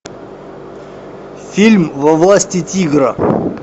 фильм во власти тигра